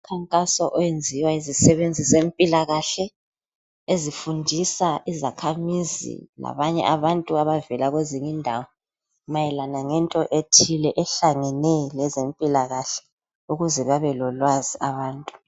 Umkhankaso oyenziwa yizisebenzi zempilakahle, ezifundisa izakhamizi labanye abantu abavela kwezinye indawo mayelana lento ethile ahlangene lezempilakahle ukuze babe lolwazi abantu.